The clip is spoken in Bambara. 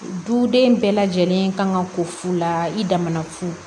Duden bɛɛ lajɛlen kan ka ko fu la i damafu